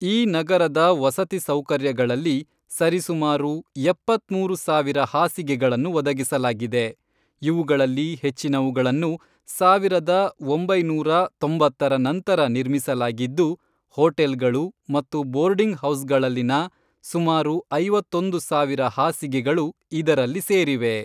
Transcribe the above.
ಈ ನಗರದ ವಸತಿ ಸೌಕರ್ಯಗಳಲ್ಲಿ ಸರಿಸುಮಾರು ಎಪ್ಪತ್ಮೂರು ಸಾವಿರ ಹಾಸಿಗೆಗಳನ್ನು ಒದಗಿಸಲಾಗಿದೆ, ಇವುಗಳಲ್ಲಿ ಹೆಚ್ಚಿನವುಗಳನ್ನು ಸಾವಿರದ ಒಂಬೈನೂರ ತೊಂಬತ್ತರ ನಂತರ ನಿರ್ಮಿಸಲಾಗಿದ್ದು, ಹೋಟೆಲ್ಗಳು ಮತ್ತು ಬೋರ್ಡಿಂಗ್ ಹೌಸ್ಗಳಲ್ಲಿನ ಸುಮಾರು ಐವತ್ತೊಂದು ಸಾವಿರ ಹಾಸಿಗೆಗಳು ಇದರಲ್ಲಿ ಸೇರಿವೆ.